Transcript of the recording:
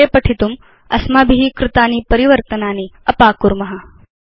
अग्रे पठितुम् अस्माभि कृतानि परिवर्तनानि अपाकुर्म